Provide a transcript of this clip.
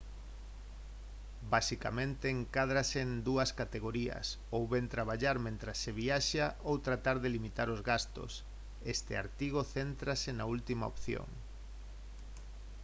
basicamente encádranse en dúas categorías ou ben traballar mentres se viaxa ou tratar de limitar os gastos este artigo céntrase na última opción